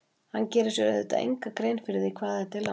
Hann gerir sér auðvitað enga grein fyrir því hvað þetta er langt.